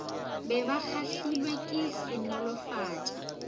be ba kgahlilwe ke senolofatša